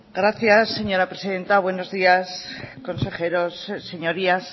gracias señora presidenta buenos días consejeros señorías